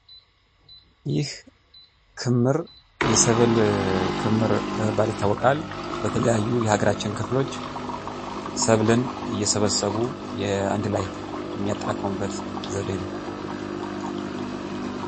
ይህ ክምር የሰብል ክምር በመባል ይታወቃል። በተለያዩ የሀገራችን ክፍሎች ሰብልን እየሰበሰቡ አንድ ላይ የሚያጠራቅሙበት ዘዴ ነው።